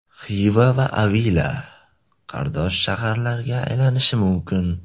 Xiva va Avila qardosh shaharlarga aylanishi mumkin.